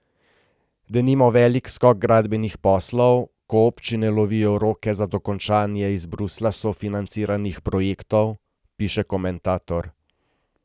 Denimo velik skok gradbenih poslov, ko občine lovijo roke za dokončanje iz Bruslja sofinanciranih projektov, piše komentator.